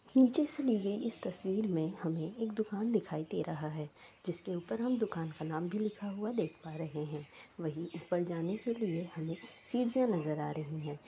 निचे से ली गई इस तस्वीर में एक दुकान दिखाई दे रहा है जिसके ऊपर हम दुकान का नाम भी लिखा हुआ देख पा रहे हैं । वही ऊपर जाने के लिए हमे सीढियाँ नजर आ रही हैं |